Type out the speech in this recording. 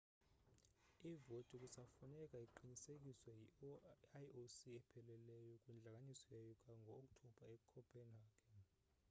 ivoti kusafuneka iqinisekiswe yi-ioc epheleleyo kwintlanganiso yayo ngo-oktobha ecopenhagen